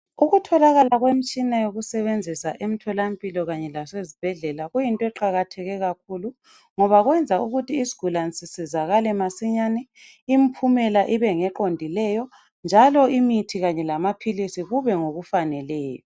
Ukutholakala kwemitshina yokusetshenziswa emtholampilo kanye lasezibhedlela kuyinto eqakatheke kakhulu ngoba kwenza ukuthi izigulane zisizakale masinyane impumela ibe ngeqondileyo njalo imithi kanye lamaphilisi kube ngokufaneleyo.